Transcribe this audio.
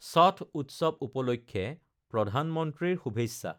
ছথ উত্সৱ উপলক্ষে প্ৰধানমন্ত্ৰীৰ শুভেচ্ছা